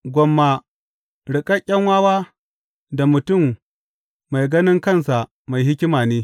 Gwamma riƙaƙƙen wawa da mutum mai ganin kansa mai hikima ne.